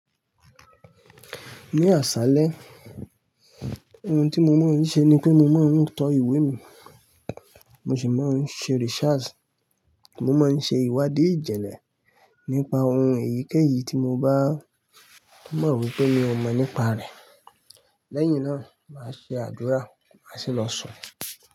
Ní àṣálẹ́, ohun tí mo máa ń ṣe ni pé mo máa ń tọ ìwé mi, mo sì máa ń ṣe research. Mo máa ń ṣe ìwádìí ìjìnlẹ̀ nípa ohun èyíkéyìí tí mo bá mọ̀ wípé mi ò mọ̀ nípa rẹ̀. Lẹ́yìn náà, màá ṣe àdúrà, màá sì lọ sùn.